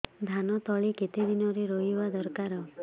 ଧାନ ତଳି କେତେ ଦିନରେ ରୋଈବା ଦରକାର